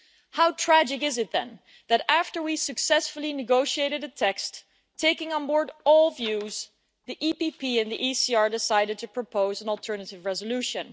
How tragic is it then that, after we had successfully negotiated a text taking on board all views, the EPP and the ECR decided to propose an alternative resolution.